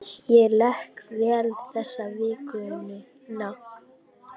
Ég lék vel þessa vikuna.